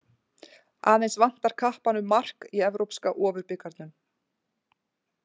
Aðeins vantar kappanum mark í evrópska ofurbikarnum.